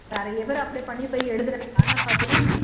நிறைய பேர் apply பண்ணி போய் எழுதுறாங்க ஆனா பார்த்தீன்னா